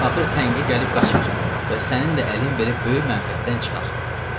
Axır təngi gəlib qaçar və sənin də əlin belə böyük mənfəətdən çıxar.